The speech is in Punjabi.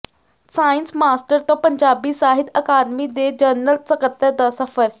ਸਾਇੰਸ ਮਾਸਟਰ ਤੋਂ ਪੰਜਾਬੀ ਸਾਹਿਤ ਅਕਾਦਮੀ ਦੇ ਜਨਰਲ ਸਕੱਤਰ ਦਾ ਸਫ਼ਰ